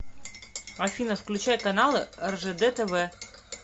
афина включай каналы ржд тв